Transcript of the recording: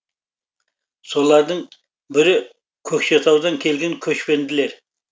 солардың бірі көкшетаудан келген көшпенділер